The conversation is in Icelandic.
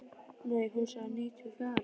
Nei, hún sagði níutíu og fjögra.